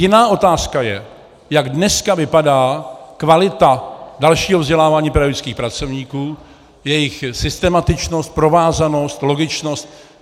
Jiná otázka je, jak dneska vypadá kvalita dalšího vzdělávání pedagogických pracovníků, jejich systematičnost, provázanost, logičnost.